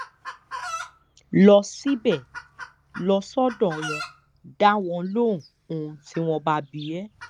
lọ síbẹ̀ lọ sọ́dọ̀ wọn dá wọn lóhùn ohun tí wọ́n bá bi ẹ́